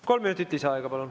Kolm minutit lisaaega, palun.